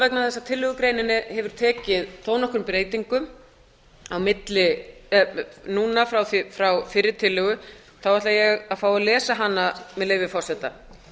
vegna þess að tillögugreinin hefur tekið þó nokkrum breytingum frá fyrri tillögu ætla ég að fá að lesa hana með leyfi forseta